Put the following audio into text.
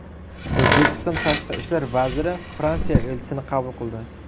O‘zbekiston Tashqi ishlar vaziri Fransiya elchisini qabul qildi.